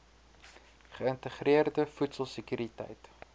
geïntegreerde voedsel sekuriteit